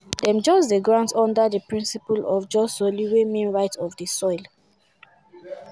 dem dey grant am under di principle of jus soli wey mean right of di soil.